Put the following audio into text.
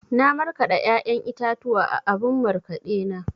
Na markaɗa ya'yan itatuwa a abun markaɗe na.